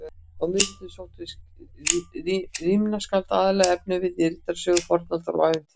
Á miðöldum sóttu rímnaskáld aðallega efnivið í riddarasögur, fornaldarsögur og ævintýri.